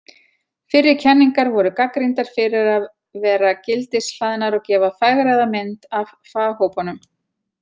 Fyrri kenningar voru gagnrýndar fyrir að vera gildishlaðnar og gefa fegraða mynd af faghópunum.